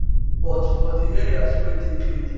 but for di areas wey dey cleaned